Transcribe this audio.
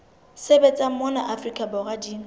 sebetsang mona afrika borwa di